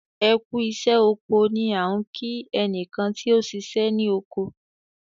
"ẹkú iṣẹ oko" ni a fí nki ẹnikan ti ọ ṣiṣẹ ni oko